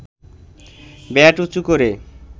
bat উঁচু করে